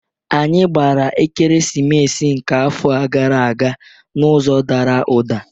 Anyị gbara Ekeresimesi nke afọ gara aga n'ụzọ Dara uda.